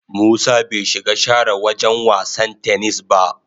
Musa bai shiga share wagen wasan "tennis" ba.